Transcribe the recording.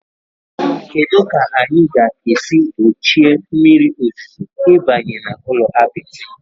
Kedu ka anyị ga-esi gbochie mmiri ozuzo ịbanye n'ụlọ apịtị?